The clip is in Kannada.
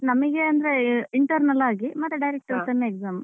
ನಮಗೆ ಅಂದ್ರೆ internal ಆಗಿ ಮತ್ತೆ direct ಆಗಿ Sem exam.